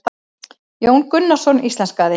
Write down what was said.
Jón Gunnarsson íslenskaði.